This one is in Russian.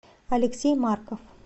алексей марков